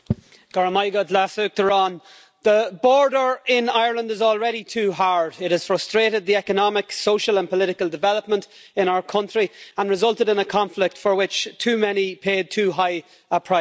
Madam President, the border in Ireland is already too hard. It has frustrated the economic, social and political development in our country and resulted in a conflict for which too many paid too high a price.